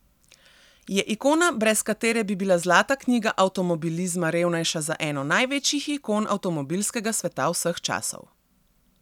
Je ikona brez katere bi bila zlata knjiga avtomobilizma revnejša za eno največjih ikon avtomobilskega sveta vseh časov.